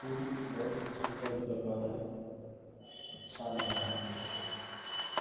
Pool बहुत ही सुंन्दर जगह हैं अच्छा लग रहा है देख के।